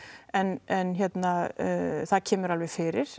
en en það kemur alveg fyrir